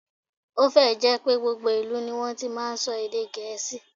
Ó fẹ́ ẹ̀ jẹ́ pé gbogbo ìlú ní wọ́n ti máa ń sọ èdè Gẹ̀ẹ́sì